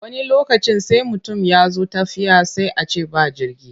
Wani lokacin sai mutum ya zo tafiya sai a ce ba jirgi.